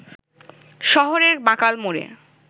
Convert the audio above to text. শহরের বাঁকাল মোড়ে